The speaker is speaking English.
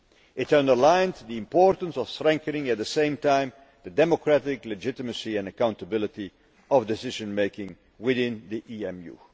It underlined the importance of strengthening at the same time the democratic legitimacy and accountability of decision making within the